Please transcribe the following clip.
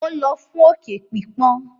Ó lọ fún òkè pípọ́n.